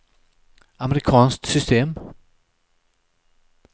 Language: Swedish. amerikanskt system